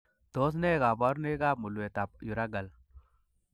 Tos nee koborunoikab mulwetab urachal ?